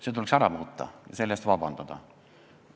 See tuleks ära muuta ja selle eest vabandust paluda.